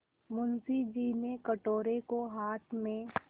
मुंशी जी ने कटोरे को हाथ में